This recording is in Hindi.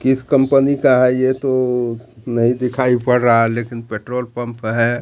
किस कंपनी का है ये तो नहीं दिखाई पड़ रहा है लेकिन पेट्रोल पंप है।